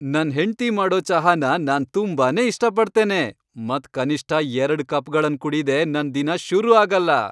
ನನ್ ಹೆಂಡ್ತಿ ಮಾಡೋ ಚಹಾನ ನಾನ್ ತುಂಬಾನೇ ಇಷ್ಟ ಪಡ್ತೇನೆ ಮತ್ ಕನಿಷ್ಠ ಎರಡ್ ಕಪ್ಗಳನ್ ಕುಡಿದೆ ನನ್ ದಿನ ಶುರು ಆಗಲ್ಲ.